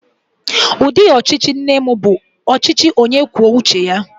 Ụdị ọchịchị nne m bụ ọchịchị onye kwuo uche ya.